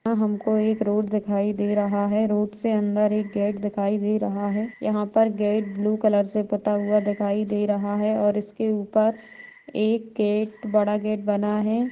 यहाँ हमको एक रोड दिखाई दे रहा है रोड से अंदर एक गेट दिखाई दे रहा है यहाँ पर गेट ब्लू कलर से पता हुआ दिखाई दे रहा है और इसके ऊपर एक गेट बड़ा गेट बना है।